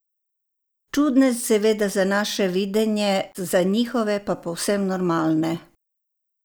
Čudne seveda za naše videnje, za njihove pa povsem normalne.